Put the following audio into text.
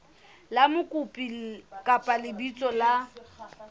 la mokopi kapa lebitso la